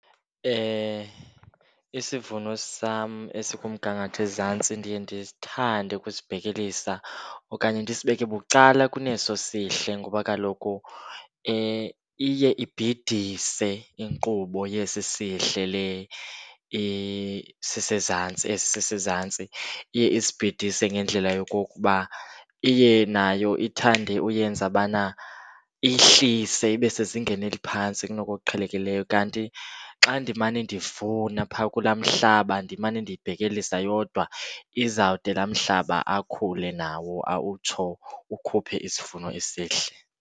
Isivuno sam esikumgangatho ezantsi ndiye ndithande ukusibhekelisa okanye ndisibeke bucala kuneso sihle ngoba kaloku iye ibhidise inkqubo yesi sihle le isezantsi, esi sisezantsi. Iye isibhidise ngendlela yokokuba iye nayo ithande uyenza ubana ihlise ibe sezingeni eliphantsi kunoku kuqhelekiyileyo. Kanti xa ndimane ndivuna phaa kulaa mhlaba, ndimane ndiyibhelisa yodwa izawude laa mhlaba akhule nawo utsho ukhuphe isivuno esihle.